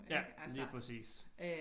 Ja lige præcis